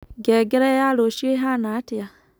ngengere ya rũcĩũ ĩhana atia